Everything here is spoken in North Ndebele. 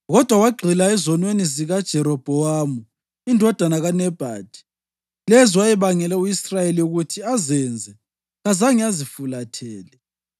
Kodwa wagxila ezonweni zikaJerobhowamu indodana kaNebhathi, lezo ayebangele u-Israyeli ukuthi azenze; kazange azifulathele.